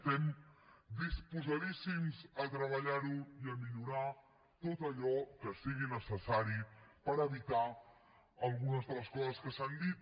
estem disposadíssims a treballar ho i a millorar tot allò que sigui necessari per evitar algunes de les coses que s’han dit